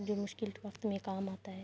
جو مشکل وقت مے کام آتا ہے۔